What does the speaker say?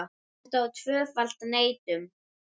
Þetta er tvöföld neitun.